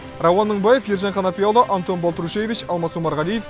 рауан мыңбаев ержан қанапияұлы антон балтрушевич алмас омарғалиев